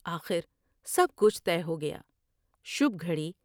آخر سب کچھ طے ہو گیا۔ شبھ گھڑی ۔